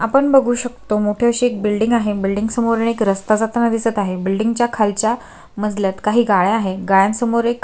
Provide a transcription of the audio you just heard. आपण बघू शकतो मोठी अशी एक बिल्डिंग आहे बिल्डिंग समोरून एक रस्ता जाताना दिसत आहे बिल्डिंग च्या खालच्या मजल्यात काही गाळ्या आहेत गाळ्या समोर--